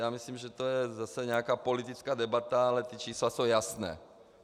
Já myslím, že je to zase nějaká politická debata, ale ta čísla jsou jasná.